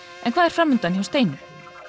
en hvað er fram undan hjá Steinu